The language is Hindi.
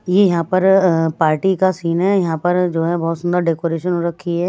ये यहां पर अ पार्टी का सीन है यहां पर जो है बहोत सुंदर डेकोरेशन हो रखी है।